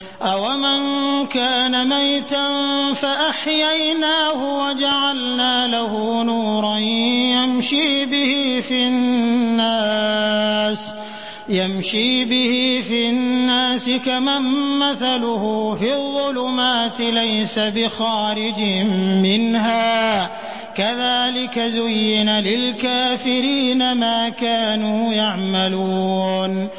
أَوَمَن كَانَ مَيْتًا فَأَحْيَيْنَاهُ وَجَعَلْنَا لَهُ نُورًا يَمْشِي بِهِ فِي النَّاسِ كَمَن مَّثَلُهُ فِي الظُّلُمَاتِ لَيْسَ بِخَارِجٍ مِّنْهَا ۚ كَذَٰلِكَ زُيِّنَ لِلْكَافِرِينَ مَا كَانُوا يَعْمَلُونَ